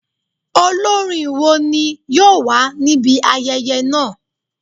Olorin wo ni yoo wa nibi ayẹyẹ naa?